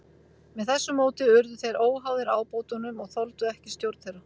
Með þessu móti urðu þeir óháðir ábótunum og þoldu ekki stjórn þeirra.